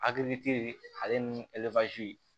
Hakili te ale ni